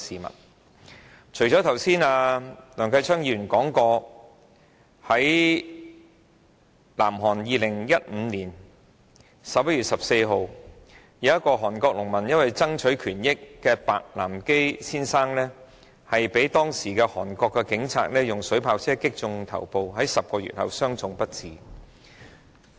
一如梁繼昌議員剛才所說，在2015年11月14日，南韓有一名農民白南基先生因為爭取權益，被韓國警察的水炮車水柱擊中頭部 ，10 個月後傷重不治。